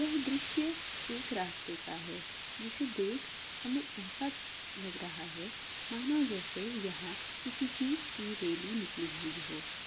यह द्रुश्य एक रास्ते का हैं जिसे देख हमे एसा लग रहा हैं मानो जेसे यहा किसी चीज की रेली निकली हुई हो।